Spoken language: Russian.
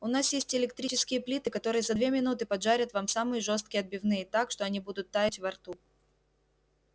у нас есть электрические плиты которые за две минуты поджарят вам самые жёсткие отбивные так что они будут таять во рту